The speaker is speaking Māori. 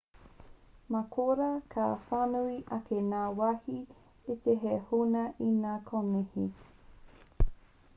mā korā ka whānui ake ngā wāhi iti hei huna i ngā konihi